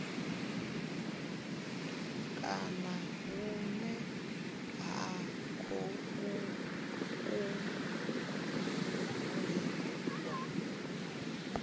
kana hune vha khou kungiwa